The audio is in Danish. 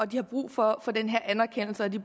de har brug for den her anerkendelse og de